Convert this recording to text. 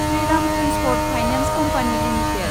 Shriram transport finance company limited